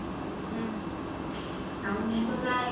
ଆଉ ମୁଁ ତ ଜାଣେ